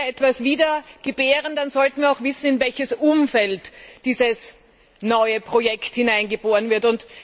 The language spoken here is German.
Und wenn wir etwas wiedergebären, dann sollten wir auch wissen, in welches Umfeld dieses neue Projekt hineingeboren wird.